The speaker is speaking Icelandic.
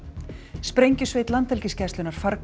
sprengjusveit Landhelgisgæslunnar